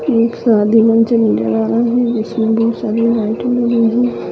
एक शादी नजर आ रहा है लाइट लगी हुई--